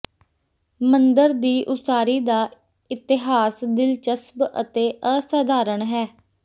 ਮੰਦਰ ਦੀ ਉਸਾਰੀ ਦਾ ਇਤਿਹਾਸ ਦਿਲਚਸਪ ਅਤੇ ਅਸਾਧਾਰਨ ਹੈ